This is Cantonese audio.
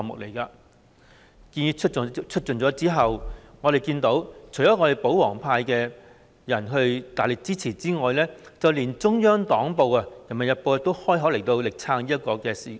這項建議提出後，我們看到除了保皇派大力支持外，連中央黨報《人民日報》也開口力撐這項建議。